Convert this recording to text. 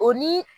O ni